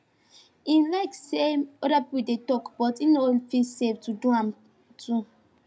him like an say other people dey talk but him no fell safe to do am too